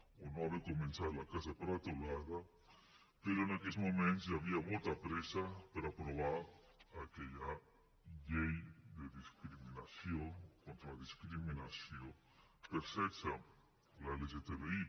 o no haver començat la casa per la teulada però en aquells moments hi havia molta pressa per aprovar aquella llei contra la discriminació per sexe l’lgtbi